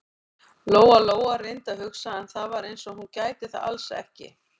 Lóa-Lóa reyndi að hugsa, en það var eins og hún gæti það alls ekki.